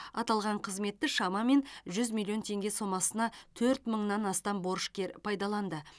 аталған қызметті шамамен жүз миллион теңге сомасына төрт мыңнан астам борышкер пайдаланды